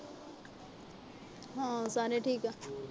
ਹਾਂ, ਸਾਰੇ ਠੀਕ ਆ।